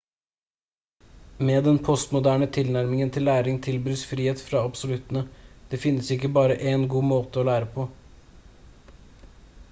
med den postmoderne tilnærming til læring tilbys frihet fra absoluttene det finnes ikke bare én god måte å lære på